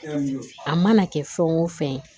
A mana kɛ fɛn o fɛn ye